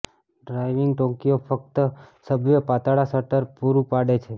driving Tokyo ફક્ત subway પાતળા shutter પૂરું પાડે છે